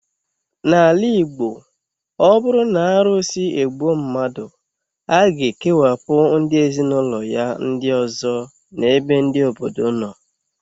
N'ala Igbo, ọ bụrụ na arụsị egbuo mmadụ, a ga-ekewapụ ndị ezinụlọ ya ndị ọzọ n' ebe ndị obodo nọ